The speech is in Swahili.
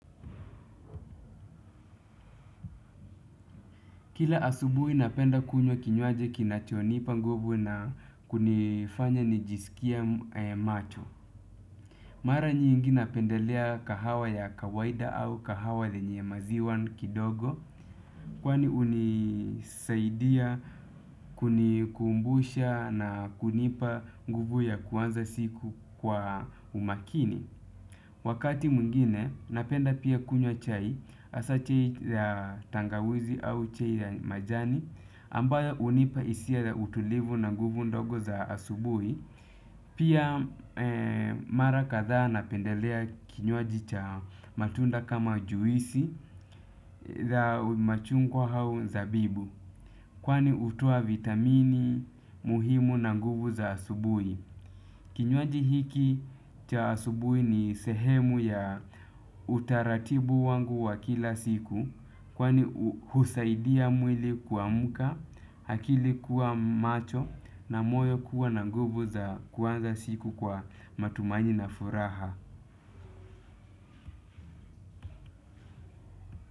Kila asubuhi napenda kunywa kinywaji kinachonipa nguvu na kunifanya nijisikie macho. Mara nyingi napendelea kahawa ya kawaida au kahawa lenye maziwa kidogo. Kwani hunisaidia kunikumbusha na kunipa nguvu ya kuanza siku kwa umakini. Wakati mwingine napenda pia kunywa chai hasa chai la tangawizi au chai ya majani. Ambayo hunipa hisia utulivu na nguvu ndogo za asubuhi pia mara kadhaa napendelea kinywaji cha matunda kama juisi za machungwa au zabibu. Kwani hutoa vitamini muhimu na nguvu za asubuhi. Kinywaji hiki cha asubuhi ni sehemu ya utaratibu wangu wa kila siku. Kwani husaidia mwili kuamka, akili kuwa macho na moyo kuwa na nguvu za kuanza siku kwa matumaini na furaha.